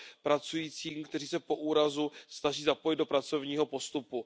pracujícím, kteří se po úrazu snaží zapojit do pracovního postupu.